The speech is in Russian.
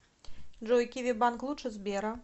джой киви банк лучше сбера